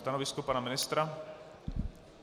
Stanovisko pana ministra?